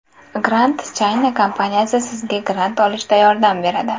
Grant China kompaniyasi sizga grant olishda yordam beradi.